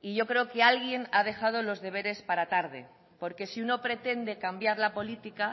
y yo creo que alguien ha dejado los deberes para tarde porque si uno pretende cambiar la política